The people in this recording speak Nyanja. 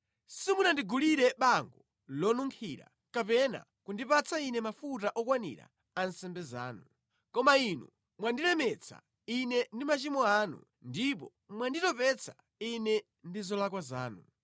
Simunandigulire bango lonunkhira kapena kundipatsa Ine mafuta okwanira a nsembe zanu. Koma inu mwandilemetsa Ine ndi machimo anu ndipo mwanditopetsa Ine ndi zolakwa zanu.